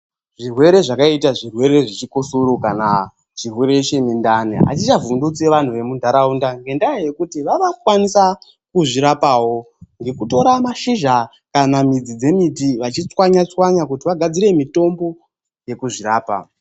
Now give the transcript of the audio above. Zvirwere zvakaita zvirwere zvechikosoro kana chirwere chemundani, achichavhundusi vantu vemuntaraunda, ngendaa yekuti vava kukwanisa kuzvirapawo ngekutora mashizha kana midzi dzemiti vachichwanya chwanya kuti vagadzire mitombo yekuzvirapa.